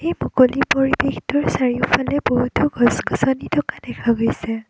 এই মুকলি পৰিৱেশটোৰ চাৰিওফালে বহুতো গছ গছনি থকা দেখা গৈছে।